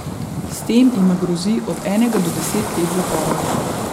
S tem jima grozi od enega do deset let zapora.